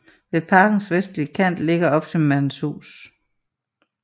Ved parkens vestlige kant ligger opsynsmandens hus